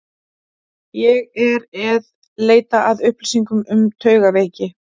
Ég er eð leita að upplýsingum um taugaveiki.